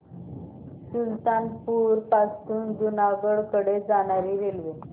सुल्तानपुर पासून जुनागढ कडे जाणारी रेल्वे